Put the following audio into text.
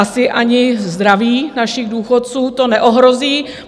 Asi ani zdraví našich důchodců to neohrozí.